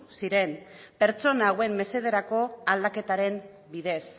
ziren pertsona hauen mesederako aldaketaren bidez